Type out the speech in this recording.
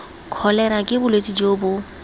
kholera ke bolwetse jo bo